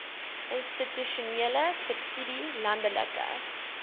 institusionele subsidie landelike